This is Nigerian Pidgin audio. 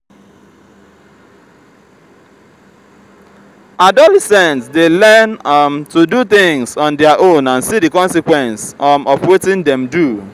adolescent de learn um to do things on their own and see the consequence um of wetin them do